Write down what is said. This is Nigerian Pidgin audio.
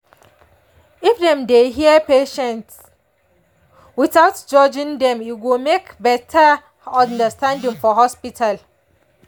if dem dey hear patients without judging dem e go make better understanding for hospital.